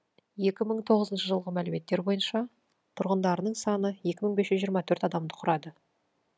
екі мың тоғызыншы жылғы мәліметтер бойынша тұрғындарының саны екі мың бес жүз жиырма төрт адамды құрады